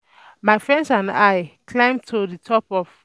My friends and I climb to the um top of